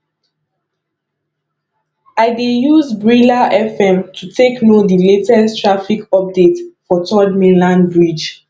i dey use brila fm to take know di latest traffic updates for third mainland bridge